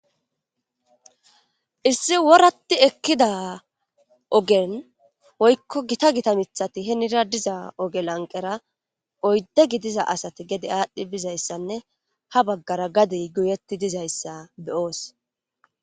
issi woratti ekkida ogen woykko gita gita mithati henira diza ogelanqera oydde gidiza asati gede aadhdhi bizayssanne ha baggara gadey guyetti dizayssa beyoos